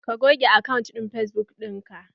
Ka goge akantin fesbuk ɗinan!